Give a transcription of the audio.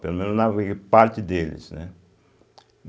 Pelo menos eu naveguei parte deles, né.